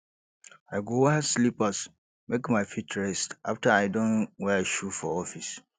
i go wear slippers make my feet rest afta i don wear shoe for office